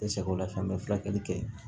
N sagola fɛnɛ bɛ furakɛli kɛ